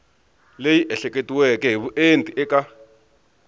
leyi ehleketiweke hi vuenti eka